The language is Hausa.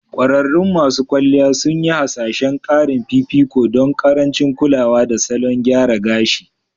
Ƙwararrun masu kwalliya sun yi hasashen ƙarin fifiko don ƙarancin kulawa da salon gyara gashii